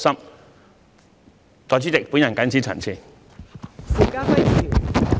代理主席，我謹此陳辭。